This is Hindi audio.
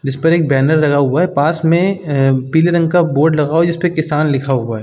जिस पर एक बैनर लगा हुआ है। पास में ऐं पीले रंग का बोर्ड लगा हुआ है जिसपे किसान लिखा हुआ है।